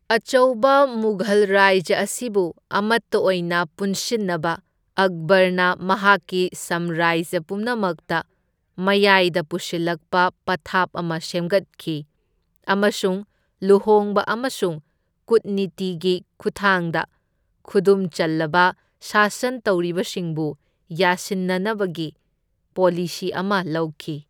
ꯑꯆꯧꯕ ꯃꯨꯘꯜ ꯔꯥꯖ꯭ꯌ ꯑꯁꯤꯕꯨ ꯑꯃꯠꯇ ꯑꯣꯏꯅ ꯄꯨꯟꯁꯤꯟꯅꯕ ꯑꯛꯕꯔꯅ ꯃꯍꯥꯛꯀꯤ ꯁꯝꯔꯥꯖ꯭ꯌ ꯄꯨꯝꯅꯃꯛꯇ ꯃꯌꯥꯢꯗ ꯄꯨꯁꯤꯜꯂꯛꯄ ꯄꯊꯥꯞ ꯑꯃ ꯁꯦꯝꯒꯠꯈꯤ ꯑꯃꯁꯨꯡ ꯂꯨꯍꯣꯡꯕ ꯑꯃꯁꯨꯡ ꯀꯨꯠꯅꯤꯇꯤꯒꯤ ꯈꯨꯊꯥꯡꯗ ꯈꯨꯗꯨꯝꯆꯜꯂꯕ ꯁꯥꯁꯟ ꯇꯧꯔꯤꯕꯁꯤꯡꯕꯨ ꯌꯥꯁꯤꯟꯅꯕꯒꯤ ꯄꯣꯂꯤꯁꯤ ꯑꯃ ꯂꯧꯈꯤ꯫